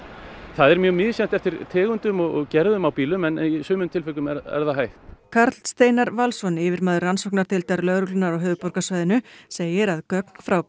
það er mjög misjafnt eftir tegundum og gerðum á bílum en í sumum tilvikum er það hægt Karl Steinar Valsson yfirmaður rannsóknardeildar lögreglunnar á höfuðborgarsvæðinu segir að gögn frá